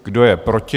Kdo je proti?